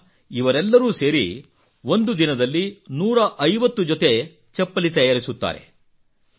ಈಗ ಇವರೆಲ್ಲರೂ ಸೇರಿ ಒಂದು ದಿನದಲ್ಲಿ ನೂರಾ ಐವತ್ತು 150 ಜೊತೆ ಚಪ್ಪಲಿ ತಯಾರಿಸುತ್ತಾರೆ